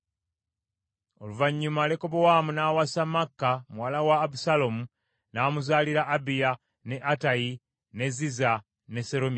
Oluvannyuma Lekobowaamu n’awasa Maaka muwala wa Abusaalomu, n’amuzaalira Abiya, ne Attayi, ne Ziza ne Seromisi.